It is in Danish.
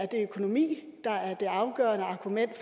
det økonomi der er det afgørende argument